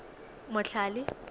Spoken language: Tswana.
motlhale